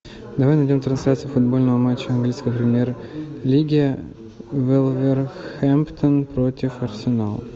давай найдем трансляцию футбольного матча английской премьер лиги вулверхэмптон против арсенала